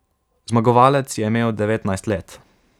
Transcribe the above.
Zmagovalec je imel devetnajst let.